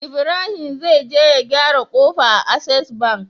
Ibrahim zai je ya gyara kofa a access bank